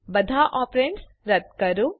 બધા ઓપ્રેન્ડ્સ રદ કરો